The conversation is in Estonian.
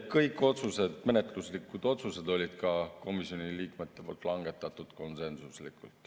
Kõik menetluslikud otsused langetasid komisjoni liikmed konsensuslikult.